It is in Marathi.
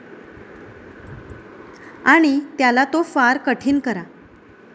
आणि त्याला तो फार कठीण करा.